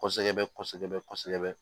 Kɔsɛbɛ kɔsɛbɛ kɔsɛbɛ